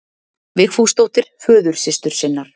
Vigfúsdóttur, föðursystur sinnar.